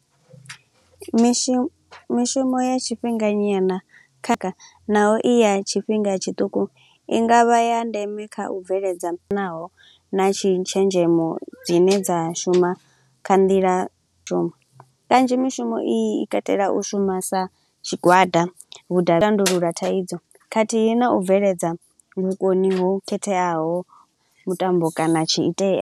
Mishumo mishumo ya tshifhinganyana kha kha naho i ya tshifhinga tshiṱuku, i nga vha ya ndeme kha u bveledza na tshi tshenzhemo dzine dza shuma kha nḓila. Kanzhi mishumo i katela u shuma sa tshigwada, tandulula thaidzo khathihi na u bveledza vhukoni ho khetheaho mutambo kana tshi itea.